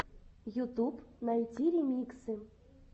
ютуб найти ремиксы